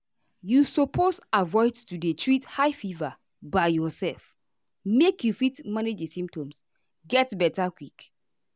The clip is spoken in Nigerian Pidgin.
you suppose avoid to dey treat high fever by yourself make you fit manage di symptoms get beta quick.